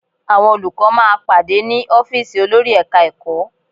Àwọn olùkọ́ máa pàdé ní ọ́fíìsì olórí Ẹ̀ka-ẹ̀kọ́